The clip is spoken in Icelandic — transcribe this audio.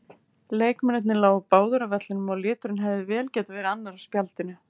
Leikmennirnir lágu báðir á vellinum og liturinn hefði vel getað verið annar á spjaldinu.